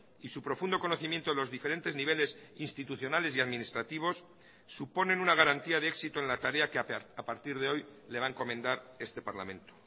y su profundo conocimiento de los diferentes niveles institucionales y administrativos suponen una garantía de éxito en la tarea que a partir de hoy le va a encomendar este parlamento